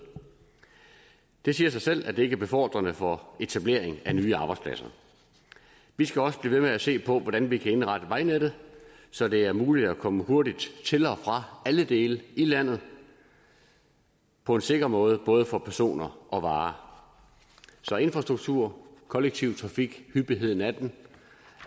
det siger sig selv at det ikke er befordrende for etablering af nye arbejdspladser vi skal også blive ved med at se på hvordan vi kan indrette vejnettet så det er muligt at komme hurtigt til og fra alle dele i landet på en sikker måde både for personer og varer så infrastruktur kollektiv trafik hyppigheden af den